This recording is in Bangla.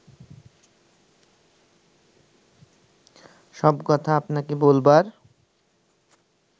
সব কথা আপনাকে বলবার